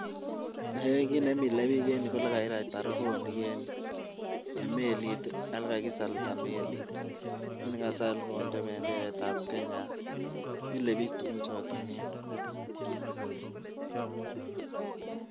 Kiit nemile biik eng yu, ko ole kakiratita borowonik eng melit, ole kakisalda melit. Mi ne kasal konde melitab Kenya, milei biichu tuguk choto nia.